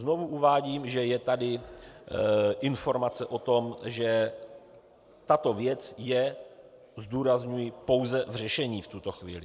Znovu uvádím, že je tady informace o tom, že tato věc je, zdůrazňuji, pouze v řešení v tuto chvíli.